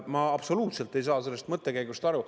Ma absoluutselt ei saa sellest mõttekäigust aru.